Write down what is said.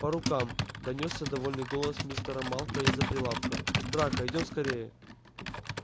по рукам донёсся довольный голос мистера малфоя из-за прилавка драко идём скорее